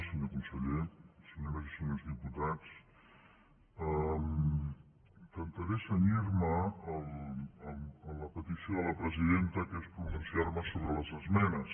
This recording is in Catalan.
senyor conseller senyores i senyors diputats intentaré cenyir me a la petició de la presidenta que és pronunciar me sobre les esmenes